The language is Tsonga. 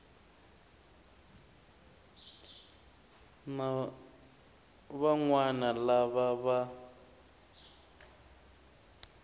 na van wana lava va